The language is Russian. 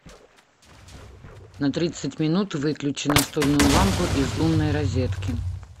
на тридцать минут выключи настольную лампу из умной розетки